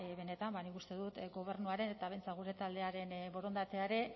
benetan ba nik uste dut gobernuaren eta behintzat gure taldearen borondatea ere